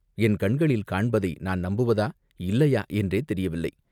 என் கண்களில் காண்பதை நான் நம்புவதா, இல்லையா என்றே தெரியவில்லை.